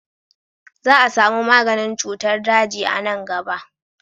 Za a samu maganin cutar daji a nan gaba.